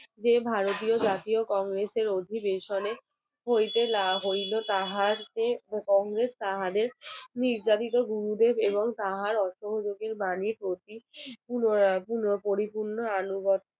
যে ভারতীয় জাতীয় কংগ্রেসের অধিবেশনে হইতে হইল তাহার কংগ্রেস তাহাদের নির্যাতিত এবং তাহার বাণী পরিপূর্ণ হওয়া আনুগত্য